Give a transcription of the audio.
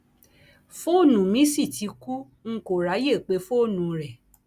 fóònù mi sì ti kú n kò ráàyè pé fóònù rẹ